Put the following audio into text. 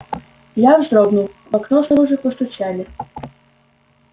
я вздрогнул в окно снаружи постучали